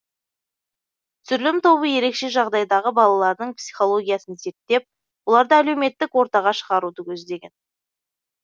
түсірілім тобы ерекше жағдайдағы балалардың психологиясын зерттеп оларды әлеуметтік ортаға шығаруды көздеген